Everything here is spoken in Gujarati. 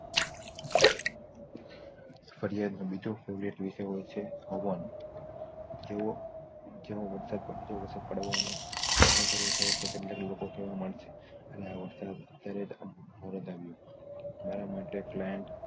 ફરિયાદ નો બીજો favourite વિષય હોય છે જેવો વરસાદ પડતો હોવાનો ન સારું થાય તે કેટલાક લોકો કહેવા માંગે છે અને આવર્ષદ સારું તમારે માટે client